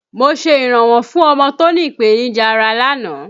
Mo ṣe iranwọ fún ọmọ tó ní ìpènìjà ará lánàá